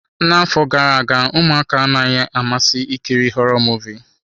N'afọ gara aga, ụmụaka anaghị amasị ikiri họrọ Muvịị.